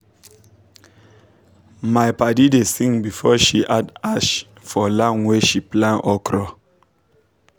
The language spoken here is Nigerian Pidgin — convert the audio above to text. my padi da sing before she add ash for land wey she plant okra